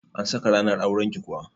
An saka ranar auran ki kuwa?